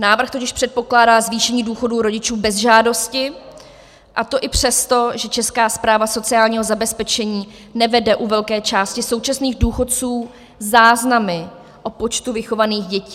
Návrh totiž předpokládá zvýšení důchodů rodičů bez žádosti, a to i přesto, že Česká správa sociálního zabezpečení nevede u velké části současných důchodců záznamy o počtu vychovaných dětí.